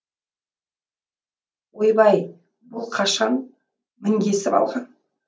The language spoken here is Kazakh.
ойбай бұл қашан мінгесіп алған